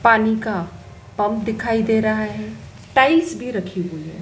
पानी का पम्प दिखाई दे रहा है टाइस भी रखी हुई है।